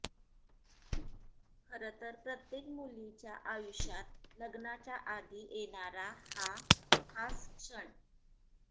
खरं तर प्रत्येक मुलीच्या आयुष्यात लग्नाच्या आधी येणारा हा खास क्षण